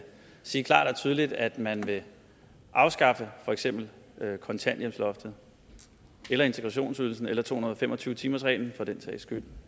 sige klart og tydeligt at man vil afskaffe for eksempel kontanthjælpsloftet eller integrationsydelsen eller to hundrede og fem og tyve timers reglen for den sags skyld